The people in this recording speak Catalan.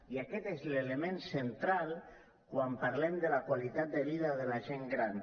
i aquest és l’element central quan parlem de la qualitat de la vida de la gent gran